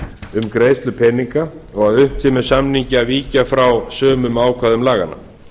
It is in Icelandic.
um greiðslu peninga og að unnt sé með samningi að víkja frá sumum ákvæðum laganna